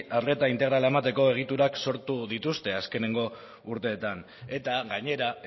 arreta integrala emateko egiturak sortu dituzte azkeneko urteetan eta gainera